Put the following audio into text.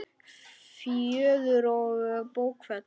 Fjöður og bókfell